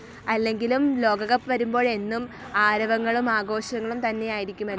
അല്ലെങ്കിലും ലോകകപ്പ് വരുമ്പോൾ എന്നും ആരവങ്ങളും ആഘോഷങ്ങളും തന്നെ ആയിരിക്കുമല്ലോ?